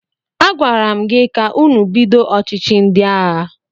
Agwara m gị ka ụnụ bido ọchịchị ndị agha!